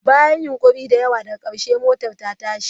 Bayan yunƙuri da yawa, daga ƙarshe motar ta tashi.